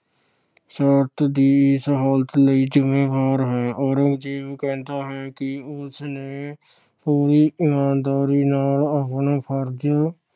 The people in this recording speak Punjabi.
ਸ਼ਾਸਨ ਦੀ ਇਸ ਹਾਲਤ ਲਈ ਜਿੰਮੇਵਾਰ ਹੈ। ਔਰੰਗਜ਼ੇਬ ਕਹਿੰਦਾ ਹੈ ਕਿ ਉਸ ਨੇ ਪੂਰੀ ਈਮਾਨਦਾਰੀ ਨਾਲ ਆਪਣਾ ਫਰਜ